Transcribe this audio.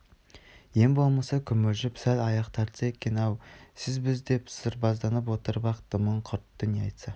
ең болмаса күмілжіп сәл аяқ тартса екен-ау сіз біз деп сырбазданып отырып-ақ дымын құртты не айтса